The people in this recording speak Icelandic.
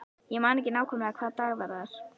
Ég man ekki nákvæmlega hvaða dag það var.